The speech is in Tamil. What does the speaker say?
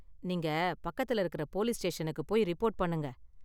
நீங்க பக்கத்துல இருக்கிற போலீஸ் ஸ்டேஷனுக்கு போய் ரிப்போர்ட் பண்ணுங்க.